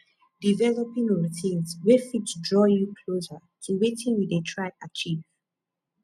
developing routines wey fit draw you closer to wetin you dey try achieve